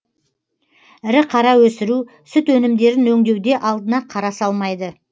ірі қара өсіру сүт өнімдерін өңдеуде алдына қара салмайды